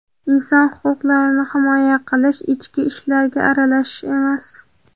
inson huquqlarini himoya qilish ichki ishlarga aralashish emas.